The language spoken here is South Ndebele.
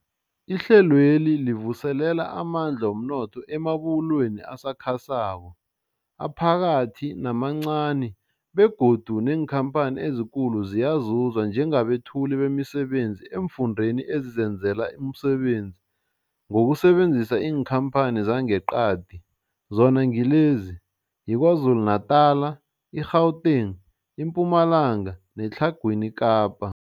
Ihlelweli livuselela amandla womnotho emabubulweni asakhasako, aphakathi namancani begodu neenkhamphani ezikulu ziyazuza njengabethuli bemisebenzi eemfundeni ezizenzela umsebenzi ngokusebenzisa iinkhamphani zangeqadi, zona ngilezi, yiKwaZulu-Natala, i-Gauteng, iMpumalanga neTlhagwini Kapa.